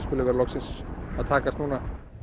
loksins að takast núna